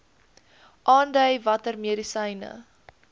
aandui watter medisyne